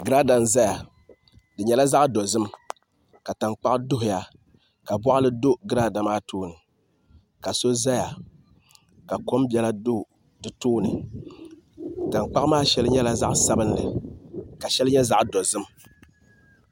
Girada n ʒɛya di nyɛla zaɣ dozim ka tankpaɣu duhuya ka boɣali do girada maa tooni ka so ʒɛya ka kom biɛla do di tooni tankpaɣu maa shɛli nyɛla zaɣ sabinli ka shɛli nyɛ zaɣ dozim